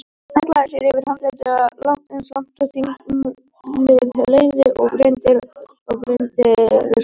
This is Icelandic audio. Hallaði sér yfir handriðið eins langt og þyngdarlögmálið leyfði og brýndi raustina.